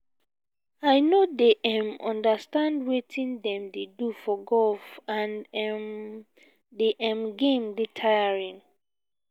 i no dey um understand wetin dem dey do for golf and um the um game dey tiring